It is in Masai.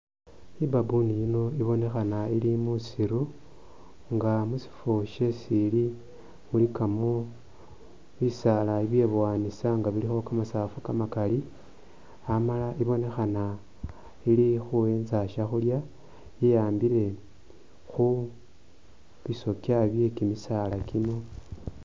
I'baboon yino ibonekhana ili musiru nga musifo shesi ili mulikamo bisaala bibyeboyanisa nga bilikho kamasafu kamakaali ,amala ibonekhana ili khuwenza byakhulya ,yeyambile khu bisookya bye kimisaala kino